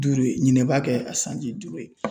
Duuru ye ɲinɛ b'a kɛ a sanji duuru ye.